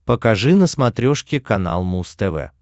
покажи на смотрешке канал муз тв